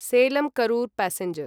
Salem Karur passenger